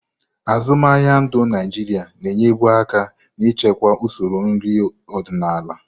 Azụmaahịa ndu Naịjirịa na-enyebu aka n'ichekwa usoro nri ọdịnala.